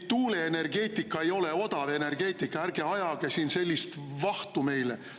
Tuuleenergeetika ei ole odav energeetika, ärge ajage siin sellist vahtu meile.